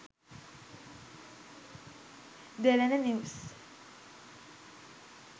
derana news